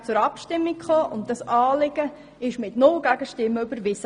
Dann ging er direkt zur Abstimmung über, und das Anliegen wurde ohne Gegenstimmen überwiesen.